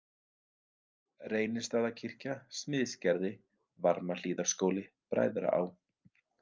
Reynistaðakirkja, Smiðsgerði, Varmahlíðarskóli, Bræðraá